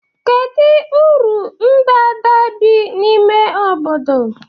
Kedu uru ndanda bi n'ime obodo?